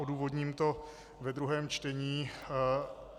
Odůvodním to ve druhém čtení.